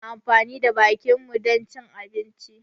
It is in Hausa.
Muna amfani da bakinmu dan cin abinci